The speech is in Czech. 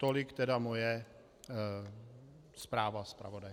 Tolik tedy moje zpráva zpravodaje.